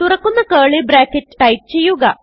തുറക്കുന്ന curly bracket type ചെയ്യുക